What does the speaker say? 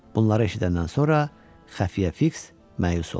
Bunları eşidəndən sonra Xəfiyə Fiks məyus oldu.